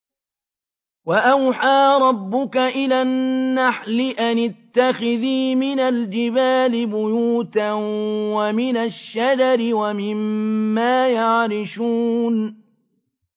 وَأَوْحَىٰ رَبُّكَ إِلَى النَّحْلِ أَنِ اتَّخِذِي مِنَ الْجِبَالِ بُيُوتًا وَمِنَ الشَّجَرِ وَمِمَّا يَعْرِشُونَ